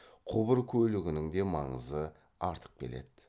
құбыр көлігінің де маңызы артып келеді